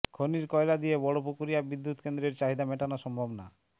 খনির কয়লা দিয়ে বড়পুকুরিয়া বিদ্যুৎকেন্দ্রের চাহিদা মেটানো সম্ভব না